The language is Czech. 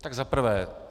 Tak za prvé.